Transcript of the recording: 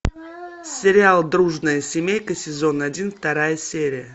сериал дружная семейка сезон один вторая серия